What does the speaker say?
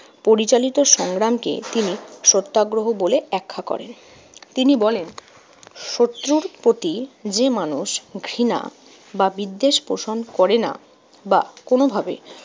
পরিচালিত সংগ্রামকে তিনি সত্যাগ্রহ বলে ব্যাখ্যা করেন। তিনি বলেন শত্রুর প্রতি যে মানুষ ঘৃণা বা বিদ্বেষ পোষণ করে না বা কোনোভাবে